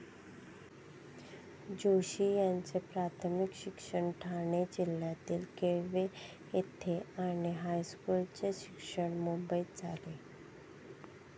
जोशी यांचे प्राथमिक शिक्षण ठाणे जिल्ह्यातील केळवे येथे आणि हायस्कूलचे शिक्षण मुंबईत झाले.